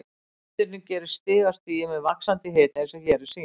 Ummyndunin gerist stig af stigi með vaxandi hita eins og hér er sýnt